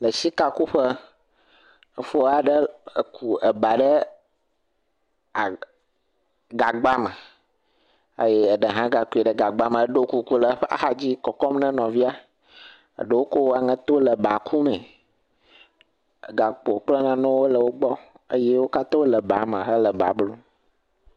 Le sika kuƒe, fo aɖe ku ba ɖe a gagba me eye ɖe hã gakui ɖe gagba me eɖo kuku le eƒe axadzi kɔkɔm ne nɔvia. Ɖewo ko aŋeto le ba la kum. Gakpo kple nanawo le wo gbɔ eye wo katã wole ba me hele ba blum.